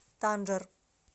танжер